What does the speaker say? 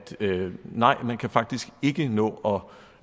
nej man kan faktisk ikke nå